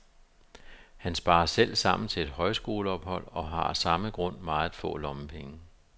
Han sparer selv sammen til et højskoleophold og har af samme grund meget få lommepenge.